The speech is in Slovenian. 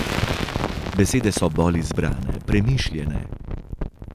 Besede so bolj izbrane, premišljene ...